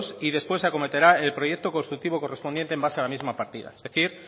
y después se acometerá el proyecto constructivo correspondiente en base a la misma partida es decir